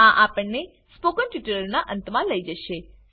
આ આપણને સ્પોકન ટ્યુટોરીયલના અંતમા લઇ જશે